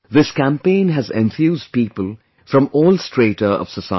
This campaign has enthused people from all strata of society